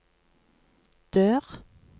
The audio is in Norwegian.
dør